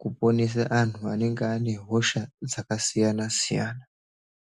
kuponesa antu anenge ane hosha dzakasiyana-siyana.